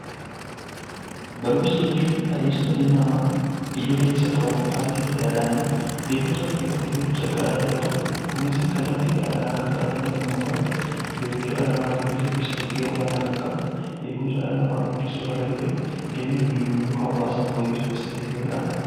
Barumsa jechuun adeemsa dhalli namaa idilees haa ta'u al-idileedhaan beekumsa qabu irratti beekumsa biraa dabalatu, kunis kallattii garaa garaa kan baratamu yommuu ta'u, beekumsa dhala namaa gabbisuu keessatti gahee olaanaa kan qabudha. Beekumsa dhala namaa guddisuu irra darbee jireenya guyyuu guyyuu hawaasaa fooyyessuu keessatti gahee olaanaa qaba.